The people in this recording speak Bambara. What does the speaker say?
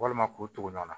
Walima k'o tugu ɲɔgɔn na